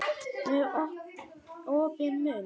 Með opinn munn.